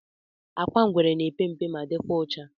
Agwa ngwere na epe mpe ma dikwa ọcha.